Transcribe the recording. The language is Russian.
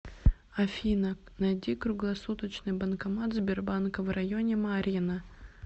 афина найди круглосуточный банкомат сбербанка в районе марьино